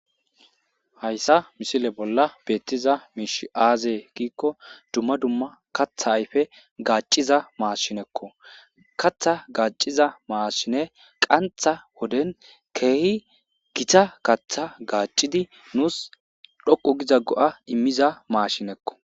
hayssa misile bolla beettiza miish aazee giikko dumma dumma katha ayfe gaacciza maashinekko katha gaaciza maashine qantha woden keehi gita katha gaacidi nuus dhoqu giza go7a immiza maashinekko